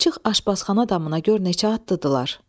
çıx aşbazxana damına gör neçə atlıdırlar.